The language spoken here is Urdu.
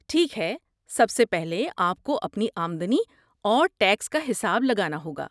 ٹھیک ہے، سب سے پہلے آپ کو اپنی آمدنی اور ٹیکس کا حساب لگانا ہوگا۔